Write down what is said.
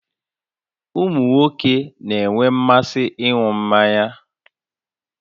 Ụmụ nwoke na-enwe mmasị ịṅụ mmanya